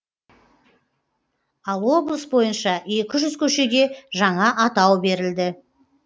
ал облыс бойынша екі жүз көшеге жаңа атау берілді